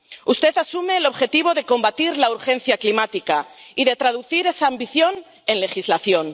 Usted asume el objetivo de combatir la urgencia climática y de traducir esa ambición en legislación.